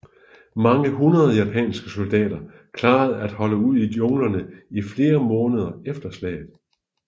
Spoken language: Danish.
Mange hundrede japanske soldater klarede at holde ud i junglerne i flere måneder efter slaget